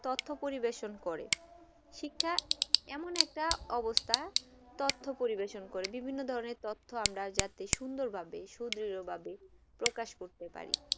তথ্য পরিবেশন করেন শিক্ষা এমন একটা অবস্থা তথ্য পরিবেশন করে বিভিন্ন ধরনে তথ্য যাতে আমরা সুন্দর ভাবে সুদীর্গ ভাবে প্রকাশ করতে পারি